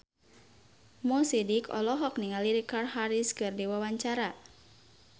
Mo Sidik olohok ningali Richard Harris keur diwawancara